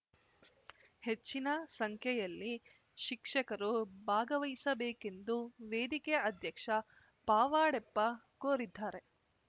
ಹೆಚ್ಚಿನ ಸಂಖ್ಯೆಯಲ್ಲಿ ಶಿಕ್ಷಕರು ಭಾಗವಹಿಸಬೇಕೆಂದು ವೇದಿಕೆ ಅಧ್ಯಕ್ಷ ಪಾವಡೆಪ್ಪ ಕೋರಿದ್ದಾರೆ